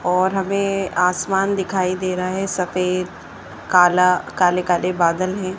और हमें आसमान दिखाई दे रहा है सफेद काला काले काले बादल है।